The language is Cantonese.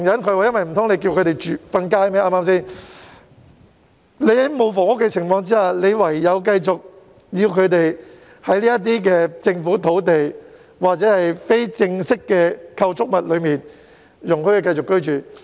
對嗎？在缺乏房屋供應的情況下，便只好繼續容忍他們在這些政府土地上或非正式的構築物內居住。